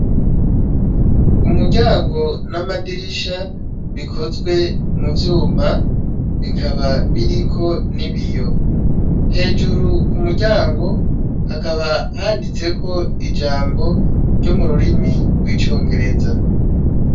Umuryango n'amadirisha bikozwe mu vyuma, bikaba biriko n'ibiyo. Hejuru ku muryango hakaba handitseko ijambo ryo mu rurimi rw'icongereza.